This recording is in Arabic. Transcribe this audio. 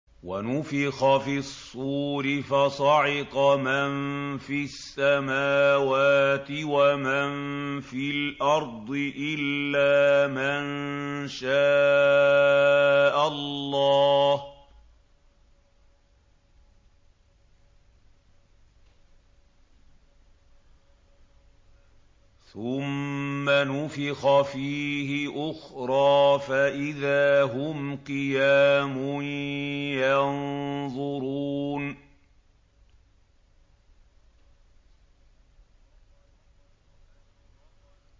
وَنُفِخَ فِي الصُّورِ فَصَعِقَ مَن فِي السَّمَاوَاتِ وَمَن فِي الْأَرْضِ إِلَّا مَن شَاءَ اللَّهُ ۖ ثُمَّ نُفِخَ فِيهِ أُخْرَىٰ فَإِذَا هُمْ قِيَامٌ يَنظُرُونَ